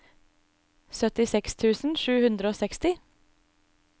syttiseks tusen sju hundre og seksti